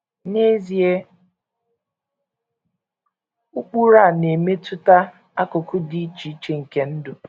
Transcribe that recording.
N’ezie, ụkpụrụ a na - emetụta akụkụ dị iche iche nke ndụ.